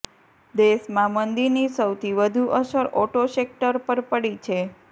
દેશમાં મંદીની સૌથી વધુ અસર ઓટો સેક્ટર પર પડી છે